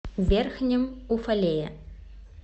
верхнем уфалее